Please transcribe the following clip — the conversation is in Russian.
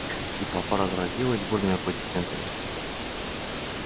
и толпа разразилась бурными аплодисментами